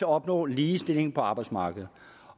opnå ligestilling på arbejdsmarkedet